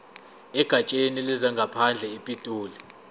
egatsheni lezangaphandle epitoli